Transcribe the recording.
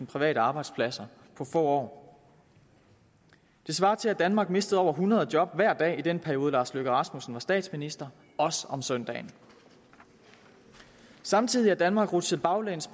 private arbejdspladser på få år det svarer til at danmark mistede over hundrede job hver dag i den periode herre lars løkke rasmussen var statsminister også om søndagen samtidig er danmark rutsjet baglæns